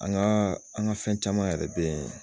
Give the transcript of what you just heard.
An ka an , an ka fɛn caman yɛrɛ be yen